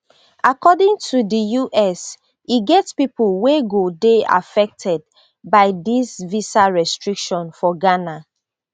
according to di us e get pipo wey go dey affected by disvisa restriction for ghana